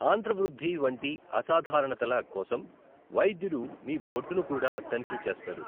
ఆంత్రవృద్ధి వంటి అసాధారణతల కోసం వైద్యుడు మీ బొడ్డు ను కూడా తనిఖీ చేస్తారు.